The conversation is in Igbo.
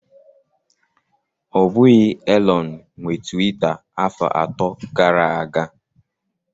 Ọ bụghị Elon nwe Tiwita afọ atọ gara aga.